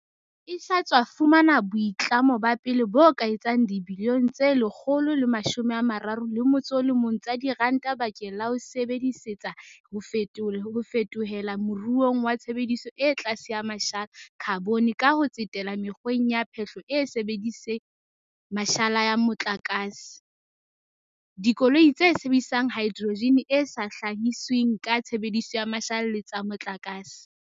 e sa tswa fumana boitlamo ba pele bo ka etsang dibilione tse 131 tsa diranta bakeng la ho e sebe disetsa ho fetohela moruong wa tshebediso e tlase ya mashala, khabone, ka ho tsetela mekgweng ya phehlo e sa sebediseng mashala ya mo tlakase, dikoloi tse sebedisang haedrojene e sa hlahisweng ka tshebediso ya mashala le tsa motlakase.